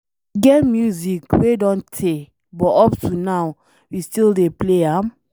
E get music wey don tey but up to now, we still dey play am.